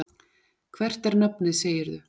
Hvert er nafnið, segirðu?